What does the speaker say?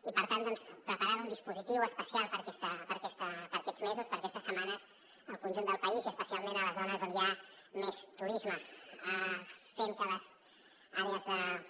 i per tant doncs preparant un dispositiu especial per a aquests mesos per a aquestes setmanes al conjunt del país i especialment a les zones on hi ha més turisme fent que les àrees